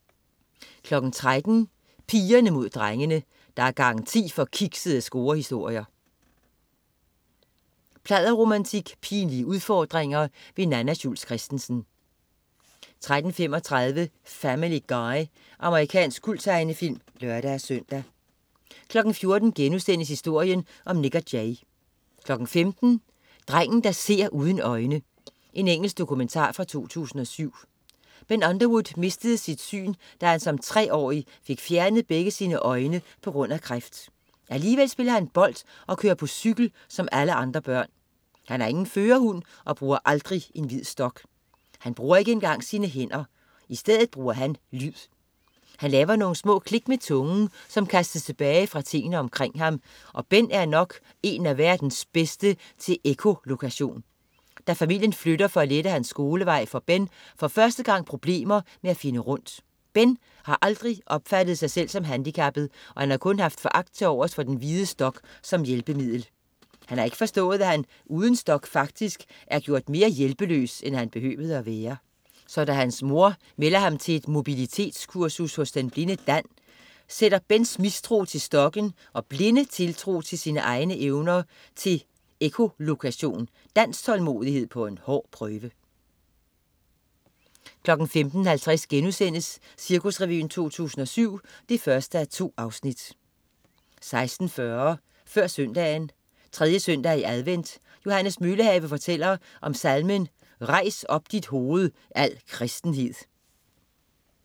13.00 Pigerne Mod Drengene. Der er garanti for kiksede scorehistorier, pladderromantik og pinlige udfordringer. Nanna Schultz Christensen 13.35 Family Guy. Amerikansk kulttegnefilm (lør-søn) 14.00 Historien om Nik & Jay* 15.00 Drengen der ser uden øjne. Engelsk dokumentar fra 2007. Ben Underwood mistede sit syn, da han som treårig fik fjernet begge sine øjne på grund af kræft. Alligevel spiller han bold og kører på cykel som alle andre børn. Han har ingen førerhund og bruger aldrig en hvid stok. Han bruger ikke engang sine hænder. I stedet bruger han lyd. Han laver nogle små klik med tungen, som kastes tilbage fra tingene omkring ham, og Ben er nok en af verdens bedste til ekkolokation. Da familien flytter for at lette hans skolevej, får Ben for første gang problemer med at finde rundt. Ben har aldrig opfattet sig selv som handicappet og har kun haft foragt til overs for den hvide stok som hjælpemiddel. Han har ikke forstået, at han uden stok faktisk har gjort sig mere hjælpeløs, end han behøvede at være. Så da hans mor melder ham til et mobilitetskursus hos den blinde Dan, sætter Bens mistro til stokken og blinde tiltro til sine egne evner til ekkolokation, Dans tålmodighed på en hård prøve 15.50 Cirkusrevyen 2007 1:2* 16.40 Før Søndagen. 3. søndag i advent. Johannes Møllehave fortæller om salmen "Rejs op dit hoved, al kristenhed"